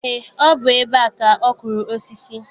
Eé, ọ bụ ebe a ka ọ kụrụ osisi.